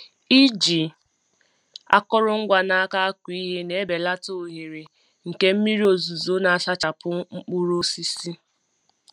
Iji akụrụngwa n’aka akụ ihe na-ebelata ohere nke mmiri ozuzo na-asachapụ mkpụrụ osisi.